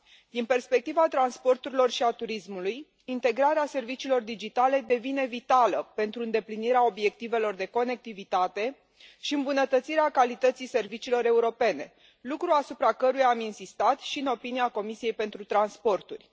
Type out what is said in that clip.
Din perspectiva transporturilor și a turismului, integrarea serviciilor digitale devine vitală pentru îndeplinirea obiectivelor de conectivitate și îmbunătățirea calității serviciilor europene, lucru asupra căruia am insistat și în avizul Comisiei pentru transporturi.